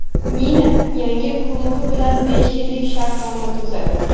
Mina yangi klubi bilan besh yillik shartnoma tuzadi.